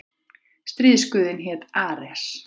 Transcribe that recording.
Stríðsguðinn hét Ares.